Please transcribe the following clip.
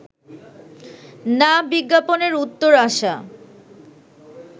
না বিজ্ঞাপনের উত্তর আসা